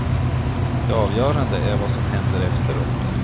Det avgörande är vad som händer efteråt.